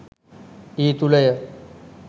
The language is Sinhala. ඒ තුළ ය.